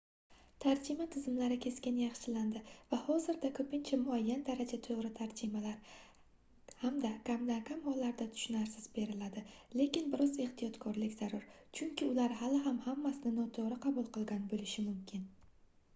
tarjima tizimlari keskin yaxshilandi va hozirda ko'pincha muayyan darajada to'g'ri tarjimalar hamda kamdan-kam hollarda tushunarsiz beriladi lekin bir oz ehtiyotkorlik zarur chunki ular hali ham hammasini noto'g'ri qabul qilgan bo'lishi mumkin